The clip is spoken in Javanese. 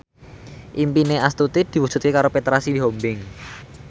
impine Astuti diwujudke karo Petra Sihombing